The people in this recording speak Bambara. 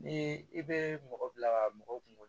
Ni i bɛ mɔgɔ bila mɔgɔ kungolo